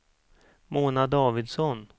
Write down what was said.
Mona Davidsson